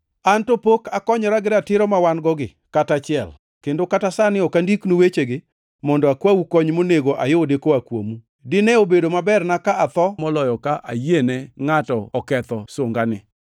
An to pok akonyora gi ratiro mawan-gogi kata achiel, kendo kata sani ok andiknu wechegi mondo akwau kony monego ayudi koa kuomu. Dine obedo maberna ka atho moloyo ka ayiene ngʼato oketho sunganani.